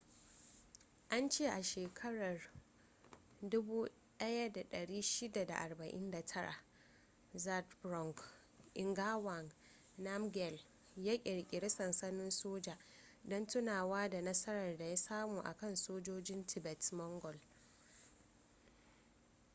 an ce a shekarar 1649 zhabdrung ngawang namgyel ya kirkiri sansanin soja don tunawa da nasarar da ya samu a kan sojojin tibet-mongol